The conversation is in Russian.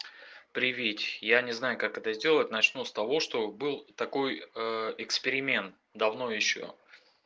приветик я не знаю как это сделать начну с того что был такой эксперимент давно ещё